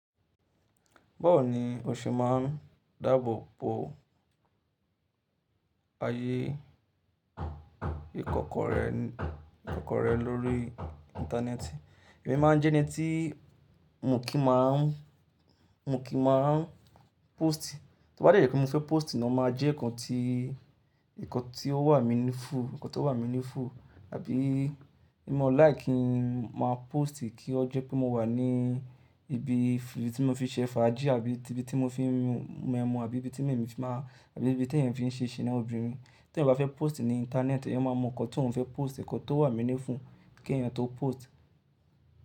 Báwo ni o ṣe máa n dáàbò bo ayé ìkọ́kọrẹ́ lórí íńtánẹ́ẹ̀tì? Èmi máa n jẹ́ ẹni tii, mi ò kìn máa mọ kì í máa n póòstì. Tó mo bá dẹ̀ jé mo fẹ́ póòstì ni o máa jẹ́ nǹkan tí nǹkan tí ó wà meaningful- nǹkan tó wà meaningful. Àbí ní mo like kí n máa póòstì kí ó jẹ́ pé mo wà ní ibi tí mo fi ṣẹ fàájì àbí ti ibi tí mo fi ń mu ẹmu àbí ibi tí mo fi máa àbí ibi t'èèyàn fi n ṣẹ́ sina ọbìnrin. T'èèyàn bá fẹ́ póòstì ní internet, èèyàn máa mọ nǹkan t'òhun fẹ́ post, nǹkan tó wà meaningful k'èèyàn tó post.